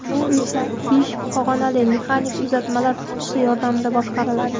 U esa besh pog‘onali mexanik uzatmalar qutisi yordamida boshqariladi.